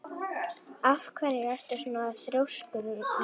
Af hverju ertu svona þrjóskur, Júlíus?